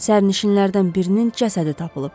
Sərnişinlərdən birinin cəsədi tapılıb.